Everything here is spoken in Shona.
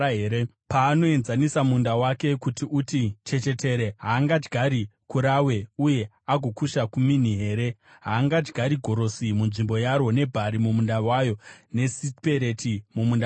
Paanoenzanisa munda wake kuti uti chechetere, haangadyari karawe uye agokusha kumini here? Haangadyari gorosi munzvimbo yaro, nebhari mumunda wayo, nesipereti mumunda wayo here?